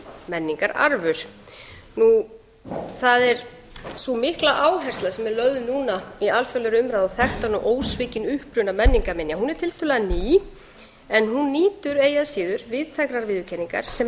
menningararf það er sú mikla áhersla sem er lögð núna í alþjóðlegri umræðu á þekktan og ósvikinn uppruna menningarminja hún er tiltölulega ný en hún nýtur eigi að síður víðtækrar viðurkenningar sem